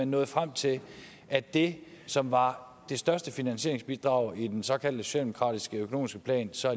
nåede frem til at det som var det største finansieringsbidrag i den såkaldte socialdemokratiske økonomiske plan så